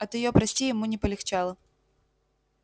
от её прости ему не полегчало